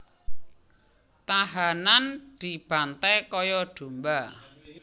Tahanan dibanté kaya domba